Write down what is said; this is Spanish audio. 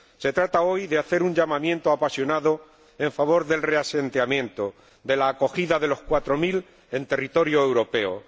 Se trata hoy de hacer un llamamiento apasionado en favor del reasentamiento, de la acogida de los cuatro mil en territorio europeo.